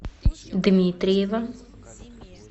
дмитриева